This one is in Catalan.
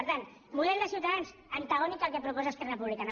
per tant model de ciutadans antagònic al que proposa esquerra republicana